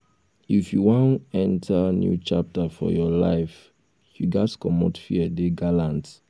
if you wan enter new chapter for your life you ghas comot fear dey gallant